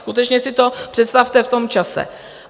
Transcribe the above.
Skutečně si to představte v tom čase.